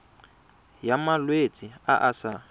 ya malwetse a a sa